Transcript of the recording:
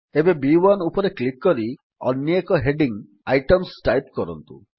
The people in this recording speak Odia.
ଏବେ ବି1 ଉପରେ କ୍ଲିକ୍ କରି ଅନ୍ୟେକ ହେଡିଙ୍ଗ୍ ଆଇଟେମ୍ସ ଟାଇପ୍ କରନ୍ତୁ